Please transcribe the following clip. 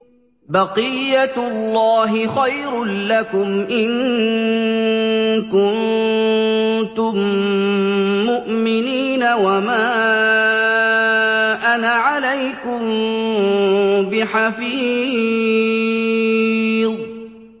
بَقِيَّتُ اللَّهِ خَيْرٌ لَّكُمْ إِن كُنتُم مُّؤْمِنِينَ ۚ وَمَا أَنَا عَلَيْكُم بِحَفِيظٍ